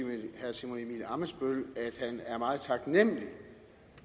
simon emil ammitzbøll at han er meget taknemlig